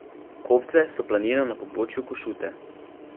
Kofce so planina na pobočju Košute.